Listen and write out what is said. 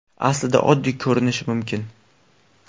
Aslida oddiy ko‘rinishi mumkin.